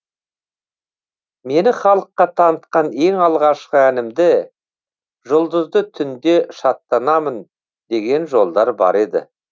мені халыққа танытқан ең алғашқы әнімді жұлдызды түнде шаттанамын деген жолдар бар еді